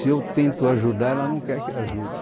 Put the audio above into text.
Se eu tento ajudar, ela não quer que ajude.